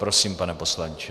Prosím, pane poslanče.